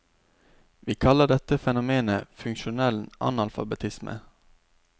Vi kaller dette fenomenet funksjonell analfabetisme.